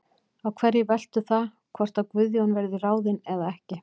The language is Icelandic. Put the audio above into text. Á hverju veltur það hvort að Guðjón verði ráðinn eða ekki?